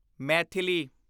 Maithili